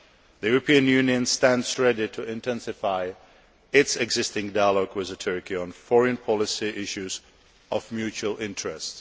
The European Union stands ready to intensify its existing dialogue with Turkey on foreign policy issues of mutual interest.